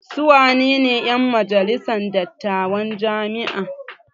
Su wanene 'yan majalisar dattawan jami'a?